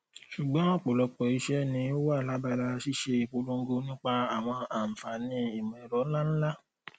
ṣugbọn ọpọlọpọ iṣẹ ni o wa labala ṣiṣe ipolongo nipa awọn anfaani imọẹrọ nlanla